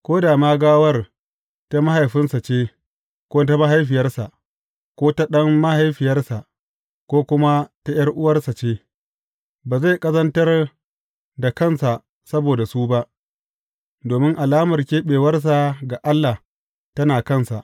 Ko da ma gawar ta mahaifinsa ce, ko ta mahaifiyarsa, ko ta ɗan mahaifiyarsa, ko kuma ta ’yar’uwarsa ce, ba zai ƙazantar da kansa saboda su ba, domin alamar keɓewarsa ga Allah tana kansa.